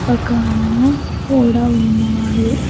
ఒక అన్న కూడా ఉన్నాడు.